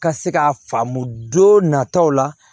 Ka se ka faamu don nataw la